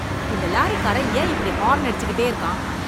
இந்த லாரிக் காரன் ஏன் இப்படி ஹாரன் அடிச்சுகிட்டே இருக்கான்?